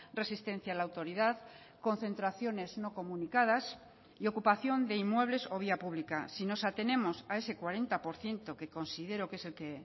resistencia a la autoridad concentraciones no comunicadas y ocupación de inmuebles o vía pública si nos atenemos a ese cuarenta por ciento que considero que es el que